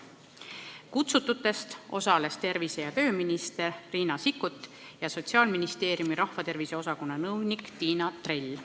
Kutsututest osalesid tervise- ja tööminister Riina Sikkut ja Sotsiaalministeeriumi rahvatervise osakonna nõunik Tiina Drell.